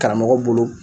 Karamɔgɔ bolo